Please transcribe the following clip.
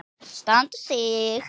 Standa sig.